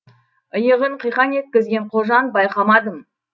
иығын қиқаң еткізген қожан байқамадым